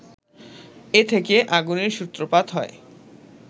এ থেকে আগুনের সূত্রপাত হয়